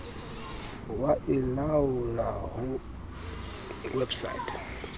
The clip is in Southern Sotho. wa e laolla ho website